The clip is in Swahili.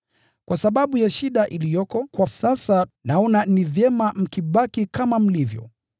Kwa sababu ya shida iliyoko kwa sasa, naona ni vyema mkibaki kama mlivyo.